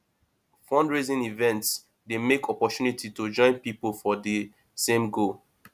fundraising events dey mek opportunity to join pipo for di same goal